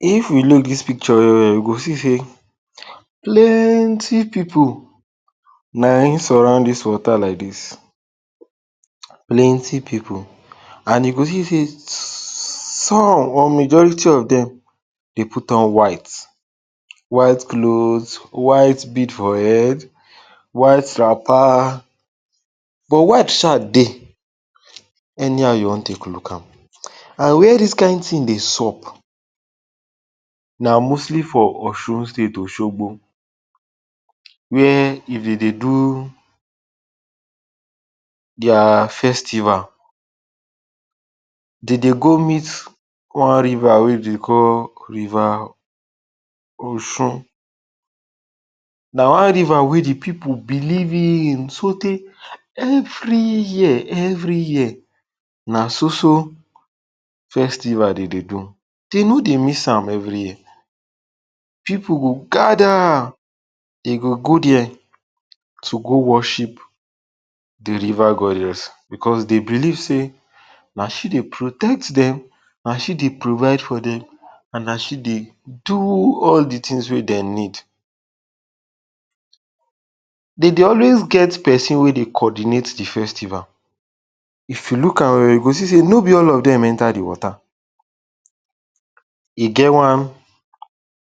If we look dis picture well well, we go see sey plenty pipu na him surround dis water like dis, plenty pipu and you go see sey some or majority of dem dey put on white, white cloth, white bead for head, white wrapper but white sha dey any how you wan take look am. And wia dis kain tin dey sup na mostly for Osun state, Osogbo wia if dem dey do dia festival de dey go meet on river wey de call rier Osun. Na one river wey di pipu believe in so tey every year every year na so so festival dem dey do, dem no dey miss am every year, pipu go gather de go go dia to go worship di river goddess cos dey believ sey na she dey protect dem, na she dey provide for dem and na she dey do all di tins wey dem need. De dey alwayd get pesin wey dey coordinate di festival, if you look am well well you go see sey no be all of dem enter di water, e get one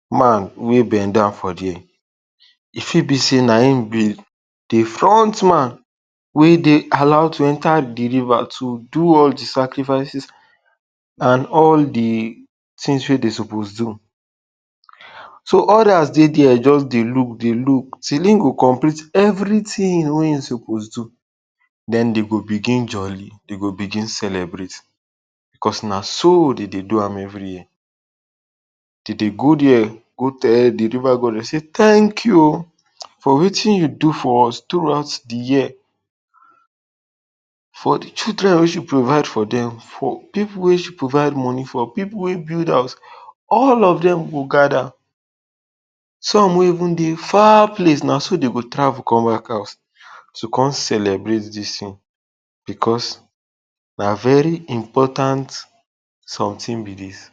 man wey bend down for dia. E fit be sey na him be di front man wey dem allow to enter di river to do all di sacrifices and all di tins wey de suppose to do. So odas det dia, just dey look dey look till him go complete everytin wey e suppose do, den dem g begin jolly, dem go begin celebrate cause na so dem dey do am every year, de dey go dia go tell di river goddess say tank you o for want you do for us throughout di year, for di children wey she provide for dem, for pipu wey she provide moni for, for pipu wey build house, all of them go gather, some wey even dey far place na so dey go travel come back house to come celebrate dis tin because na very important somtin be dis